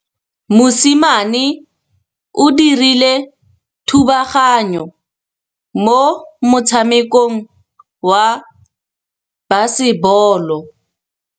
Mosimane o dirile thubaganyô mo motshamekong wa basebôlô.